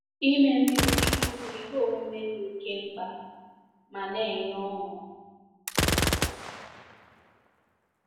Ime mmiri chukwu bụ ihe omume dị oke mkpa ma na-enye ọṅụ.